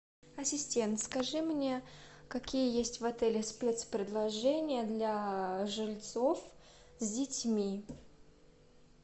ассистент скажи мне какие есть в отеле спецпредложения для жильцов с детьми